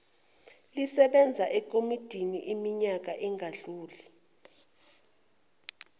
lisebenze ekomidiniiminyaka engadluli